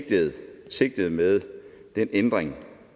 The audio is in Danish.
sige at sigtet med den ændring